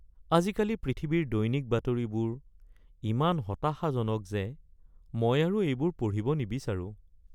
আজিকালি পৃথিৱীৰ দৈনিক বাতৰিবোৰ ইমান হতাশাজনক যে মই আৰু এইবোৰ পঢ়িব নিবিচাৰোঁ। (ব্যক্তি ১)